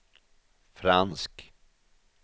fransk